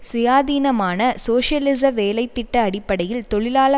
சுயாதீனமான சோசியலிச வேலை திட்ட அடிப்படையில் தொழிலாள